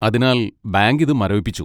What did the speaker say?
അതിനാൽ, ബാങ്ക് ഇത് മരവിപ്പിച്ചു.